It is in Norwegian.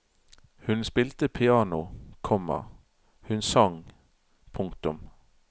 Hun spilte piano, komma hun sang. punktum